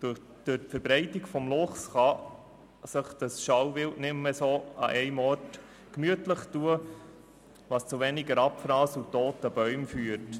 Durch die Verbreitung des Luchses kann sich das Schalenwild nicht mehr nur an einem Ort gemütlich tun, was zu weniger Abfrass und zu weniger toten Bäumen führt.